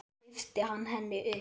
Og svo lyfti hann henni upp.